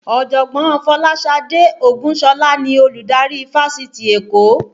Ọ̀jọ̀gbọ́n Folasade Ogunsola ni Olùdarí fáṣítì Èkó